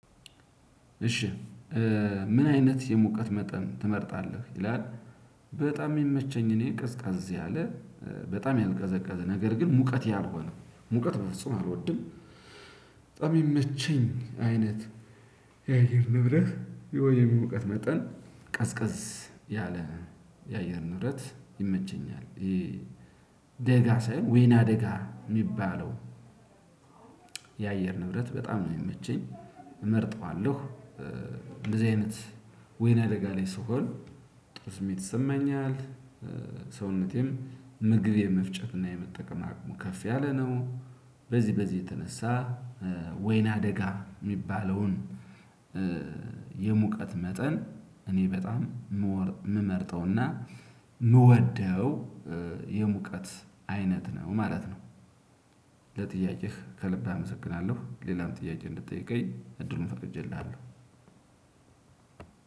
እሺ። ምን አይነት የሙቀት መጠን ትመርጣለህ ይላል? በጣም የሚመቸኝ እኔ ቀዝቀዝ ያለ በጣም ያልቀዘቀዘ ነገር ግን ሙቀት ያልሆነው ሙቀት በፍጹም አልወድም። በጣም ሚመቸኝ አይነት። የአየር ንብረት የሆነ ሙቀት መጠን ቀዝቀዝ ያለ የአየር ንብረት ይመቸኛል ይሄ። ደጋ ሳይሆን ወይና ደጋ ሚባለው። የአየር ንብረት በጣም ነው ሚመቸኝ እመርጠዋለሁ። እንደዚህ አይነት ወይን አደጋ ላይ ስሆን ጥሩ ስሜት ይሰማኛል። ሰውነቴም ምግብ የመፍጨት እና የመጠቀም አቅሙ ከፍ ያለ ነው። በዚህ በዚህ የተነሳ። ወይና አደጋ ሚባለውን። የሙቀት መጠን እኔ በጣም ምመርጠው ምወደው የሙቀት አይነት ነው ማለት ነው። ለጥያቄህ ከልብ አመሰግናለሁ ሌላም ጥያቄ እንድትጠይቀኝ እድሉን ፈቅጄልሃለሁ።